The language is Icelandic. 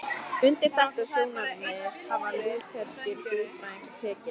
Undir þetta sjónarmið hafa lútherskir guðfræðingar tekið.